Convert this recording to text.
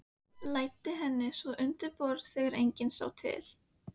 Læddi henni svo undir borðið þegar enginn sá til.